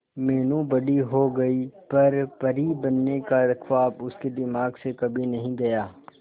मीनू बड़ी हो गई पर परी बनने का ख्वाब उसके दिमाग से कभी नहीं गया